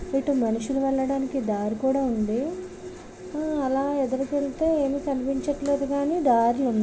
ఇటు మనుషులు వెళ్లడానికి దారి కూడా ఉంది. హ్ అలా ఎదురుకెళ్తే ఏమి కనిపించట్లేదు కానీ దారులున్నా --